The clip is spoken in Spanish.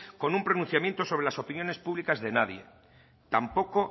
con un pronunciamiento sobre las opiniones públicas de nadie tampoco